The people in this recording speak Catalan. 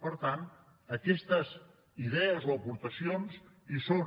per tant aquestes idees o aportacions hi són